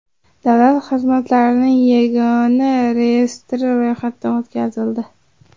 Davlat xizmatlarining yagona reyestri ro‘yxatdan o‘tkazildi.